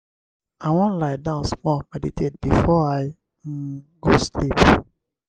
i wan lie die small meditate before i um go sleep.